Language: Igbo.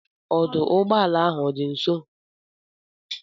Ọdụụgbọala ahụ ọ dị nso?